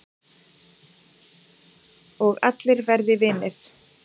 Og allir verði vinir